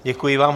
Děkuji vám.